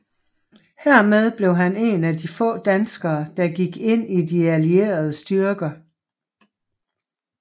Hermed blev han en af de få danskere der gik ind i de allierede styrker